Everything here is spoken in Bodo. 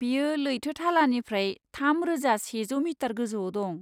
बेयो लैथो थालानिफ्राय थाम रोजा सेजौ मिटार गोजौआव दं।